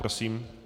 Prosím.